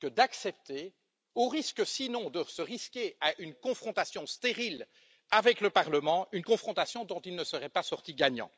que d'accepter, au risque, dans le cas contraire, de se heurter à une confrontation stérile avec le Parlement, une confrontation dont il ne serait pas sorti gagnant.